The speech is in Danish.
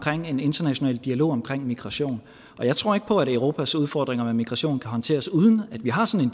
en international dialog om migration og jeg tror ikke på at europas udfordringer med migration kan håndteres uden at vi har sådan